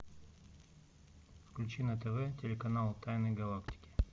включи на тв телеканал тайны галактики